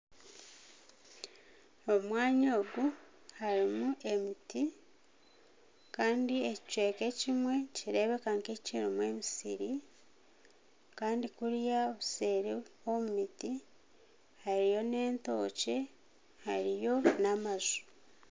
Omwanya ogu harimu emiti kandi ekicweka ekimwe nikireebeka kirimu emisiri kandi kuriyo obuseeri omu miti hariyo n'entookye hariyo n'amaju